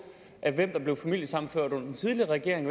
hvem der blev familiesammenført under den tidligere regering